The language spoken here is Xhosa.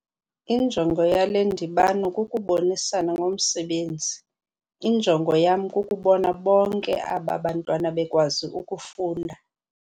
Injongo yale ndibano kukubonisana ngomsebenzi. injongo yam kukubona bonke aba bantwana bekwazi ukufunda